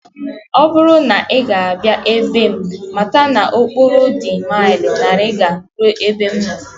Ọ bụrụ na ị ga-abịa na be m, mata na okporo dị maịlụ narịga ruo ebe m nọ